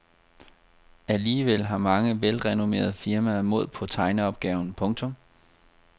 Alligevel har mange velrenommerede firmaer mod på tegneopgaven. punktum